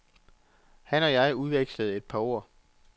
Han og jeg udvekslede et par ord.